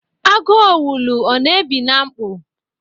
Agu owulu ọ na-ebi na mkpọ?